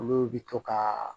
Olu bi to kaa